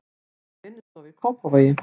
Er með vinnustofu í Kópavogi.